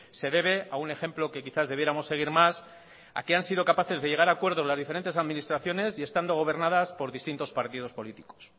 se debe a un ejemplo que quizás debiéramos seguir más al que han sido capaces de llegar a acuerdos las diferentes administraciones y estando gobernadas por distintos partidos políticos